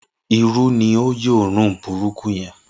Iru ni ó yọ́ run burúkú yẹn